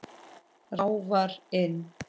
Ráfar inn.